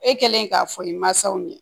E kɛlen k'a fɔ i mansaw ye